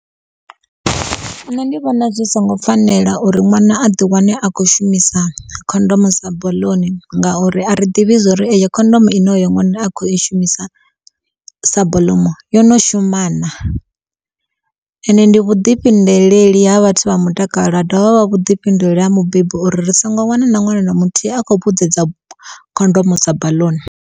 Nṋe ndi vhona zwi songo fanela uri ṅwana a ḓi wane a khou shumisa khondomo sa baḽuni ngauri a ri ḓivhi zwo ri eyo ine oyo ṅwana a kho i shumisa sa baḽumu yo no shuma naa? Ende ndi vhudifhinduleleli ha vhathu vha mutakalo ha dovha vha vhuḓifhinduleli ha mubebi uri ri songo wana na ṅwana na muthihi a khou vhudzedza khondomo sa baḽuni.